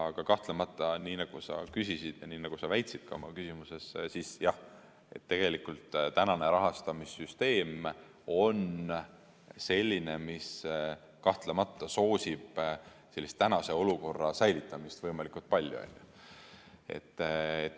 Aga kahtlemata, nii nagu sa küsisid ja nii nagu sa väitsid oma küsimuses, siis jah, tänane rahastamissüsteem on selline, mis kahtlemata soosib sellise olukorra säilitamist võimalikult palju.